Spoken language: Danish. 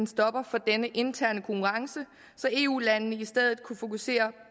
stopper for denne interne konkurrence så eu landene i stedet kunne fokusere